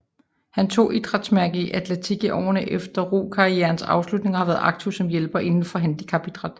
Han tog idrætsmærke i atletik i årene efter rokarrierens afslutning og har været aktiv som hjælper inden for handicapidræt